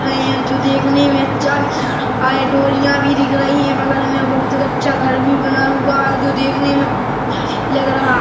जो दिखने में अच्छा भी लग रहा है यहाँ डोरियां भी दिख रही है बगल में बहुत अच्छा घर भी बना हुआ है जो देखने में अच्छा लग रहा है।